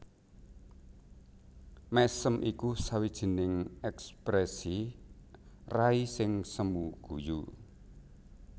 Mèsem iku sawijining èksprèsi rai sing semu guyu